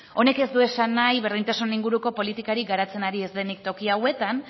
honek ez du esan nahi berdintasun inguruko politikarik garatzen ari ez denik toki hauetan